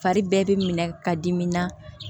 Fari bɛɛ bɛ minɛ ka dimi na